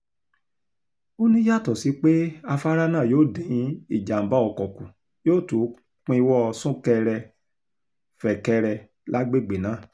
ó ní yàtọ̀ sí pé afárá náà yóò dín ìjàm̀bá ọkọ̀ kù yóò tún pínwó súnkẹrẹ-fẹ́kẹ̀rẹ lágbègbè náà